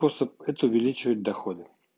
просто это увеличивает доходы